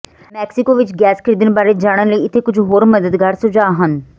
Mexico ਵਿੱਚ gas ਖਰੀਦਣ ਬਾਰੇ ਜਾਣਨ ਲਈ ਇੱਥੇ ਕੁਝ ਹੋਰ ਮਦਦਗਾਰ ਸੁਝਾਅ ਹਨ